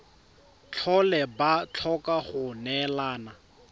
tlhole ba tlhoka go neelana